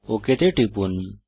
okay তে টিপুন